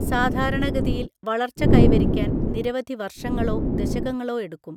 സാധാരണഗതിയിൽ വളർച്ച കൈവരിക്കാൻ നിരവധി വർഷങ്ങളോ ദശകങ്ങളോ എടുക്കും.